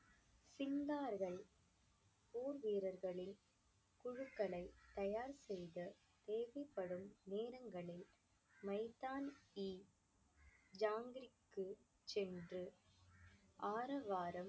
சிந்தார்கள் போர் வீரர்களின் குழுக்களை தயார் செய்து தேவைப்படும் நேரங்களில் மைத்தான் இ ஜாங்கிரிக்கு சென்று ஆரவாரம்